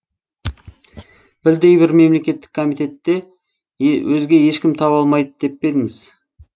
білдей бір мемлекеттік комитетте өзге ешкім таба алмайды деп пе едіңіз